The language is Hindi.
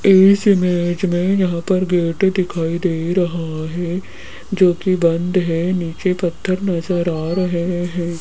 इस इमेज में यहां पर गेट दिखाई दे रहा है जो कि बंद है नीचे पत्थर नजर आ रहे हैं।